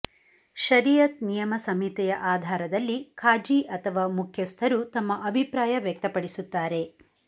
ಶರೀಅತ್ ನಿಯಮ ಸಂಹಿತೆಯ ಆಧಾರದಲ್ಲಿ ಖಾಝಿ ಅಥವಾ ಮುಖ್ಯಸ್ಥರು ತಮ್ಮ ಅಭಿಪ್ರಾಯ ವ್ಯಕ್ತಪಡಿಸುತ್ತಾರೆ